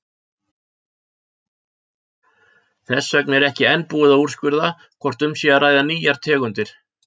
Þess vegna er ekki enn búið að úrskurða hvort um sé að ræða nýjar tegundir.